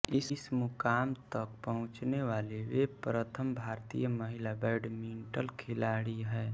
इस मुकाम तक पहुँचने वाली वे प्रथम भारतीय महिला बैडमिंटन खिलाड़ी हैं